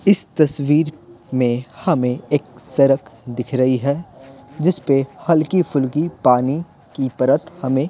इस तस्वीर में हमें एक सड़क दिख रही है जिस पे हल्की-फुल्की पानी की परत हमें --